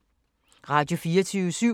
Radio24syv